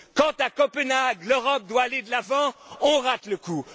Quand, à Copenhague, l'Europe doit aller de l'avant, on rate le coup!